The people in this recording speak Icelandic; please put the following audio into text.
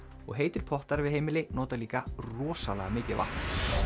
og heitir pottar við heimili nota líka rosalega mikið vatn